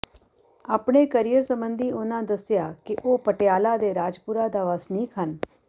ਆਪਣੇ ਕਰੀਅਰ ਸਬੰਧੀ ਉਹਨਾਂ ਦੱਸਿਆ ਕਿ ਉਹ ਪਟਿਆਲਾ ਦੇ ਰਾਜਪੁਰਾ ਦਾ ਵਸਨੀਕ ਹਨ